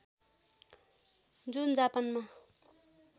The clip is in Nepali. जुन जापानमा